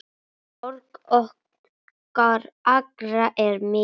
Sorg okkar allra er mikil.